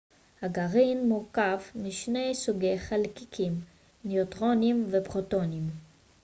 הגרעין מורכב משני סוגי חלקיקים ניוטרונים ופרוטונים